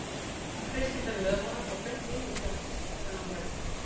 Kristín fer með honum og beint inn í klettinn, þennan hérna.